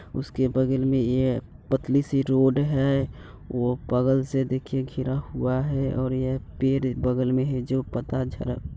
उसके बगल में ए पतली सी रोड है वो बगल से देखिये घिरा हुआ है और यह पेड़ बगल में है जो पत्ता झ --